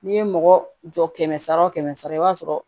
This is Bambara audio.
N'i ye mɔgɔ jɔ kɛmɛ sara o kɛmɛ sara i b'a sɔrɔ